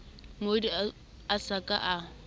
molli a sa ka a